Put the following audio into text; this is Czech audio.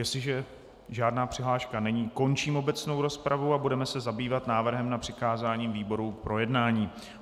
Jestliže žádná přihláška není, končím obecnou rozpravu a budeme se zabývat návrhem na přikázání výborům k projednání.